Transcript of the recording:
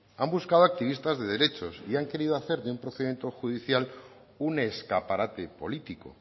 han buscado activistas de derechos y han querido hacer de un procedimiento judicial un escaparate político